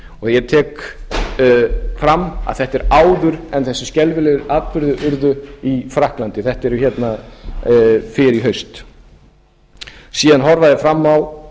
ég tek fram að þetta er áður en þessir skelfilegu atburðir urðu í frakklandi þetta er fyrr í haust síðan horfa þeir fram á